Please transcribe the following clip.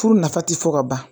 Furu nafa ti fɔ ka ban